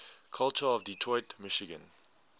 culture of detroit michigan